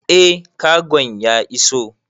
Eh kagon ya iso